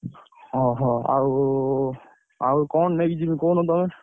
ହଁ ହଁ ଆଉ, ଆଉ କଣ ନେଇକି ଯିବି କହୁନ ତମେ?